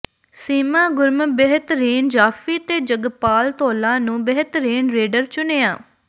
ਸੀਮਾ ਗੁਰਮ ਬਿਹਤਰੀਨ ਜਾਫ਼ੀ ਤੇ ਜਗਪਾਲ ਧੌਲਾ ਨੂੰ ਬਿਹਤਰੀਨ ਰੇਡਰ ਚੁਣਿਆ